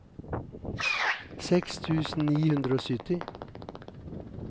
seks tusen ni hundre og sytti